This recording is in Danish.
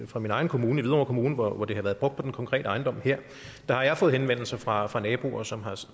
fra min egen kommune hvidovre kommune hvor det har været brugt på den konkrete ejendom her der har jeg fået henvendelser fra fra naboer som har